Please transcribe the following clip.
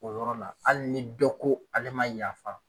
O yɔrɔ la, hali ni dɔ ko ale ma yafa.